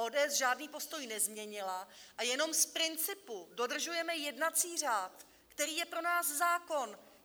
ODS žádný postoj nezměnila a jenom z principu dodržujeme jednací řád, který je pro nás zákon!